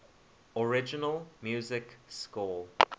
original music score